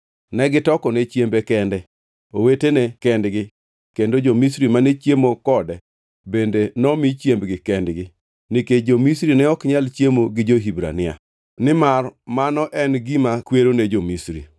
Negitokone chiembe kende, owetene kendgi, kendo jo-Misri mane chiemo kode bende nomi chiembgi kendgi, nikech jo-Misri ne ok nyal chiemo gi jo-Hibrania, nimar mano en gima kwero ne jo-Misri.